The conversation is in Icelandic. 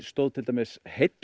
stóð til dæmis heill